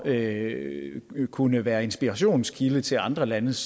at kunne være inspirationskilde til andre landes